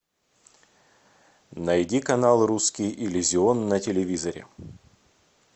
найди канал русский иллюзион на телевизоре